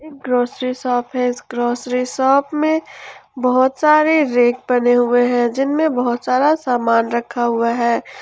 Grocery shop है इस grocery shop में बहुत सारे रैक बने हुए हैं जिनमें बहुत सारा सामान रखा हुआ है।